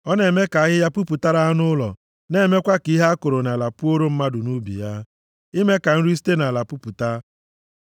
Ọ na-eme ka ahịhịa puputara anụ ụlọ, na-emekwa ka ihe a kụrụ nʼala puoro mmadụ nʼubi ya, ime ka nri site nʼala pupụta;